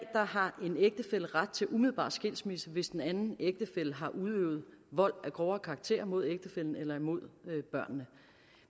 har en ægtefælle ret til umiddelbar skilsmisse hvis den anden ægtefælle har udøvet vold af grovere karakter mod ægtefællen eller imod børnene